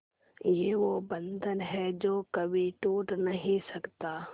ये वो बंधन है जो कभी टूट नही सकता